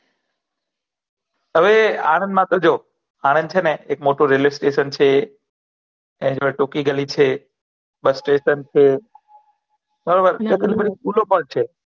હવે આનંદ મા તો જો આનંદ છે ને એક મોટુ રેલ્વે સ્ટેશન છે એની જોડે ટુકી ગલી છે બસ સ્ટેશન છે બરાબર ત્યા તો બધી સ્કુલો પણ છે